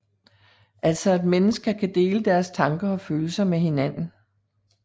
Altså at mennesker kan dele deres tanker og følelser med hinanden